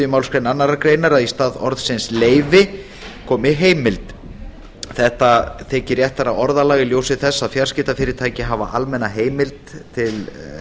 málsgrein annarrar greinar að í stað orðsins leyfi komi heimild þetta þykir réttara orðalag í ljósi þess að fjarskiptafyrirtæki hafa almenna heimild til